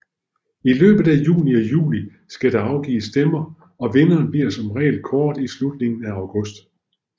I løbet af juni og juli skal der afgives stemmer og vinderen bliver som regel kåret i slutningen af august